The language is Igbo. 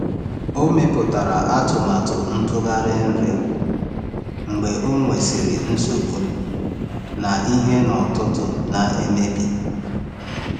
Ọ mepụtara atụmatụ ntụgharị nri mgbe ọ nwesịrị nsogbu na ihe n’ọtụtù na-emebi.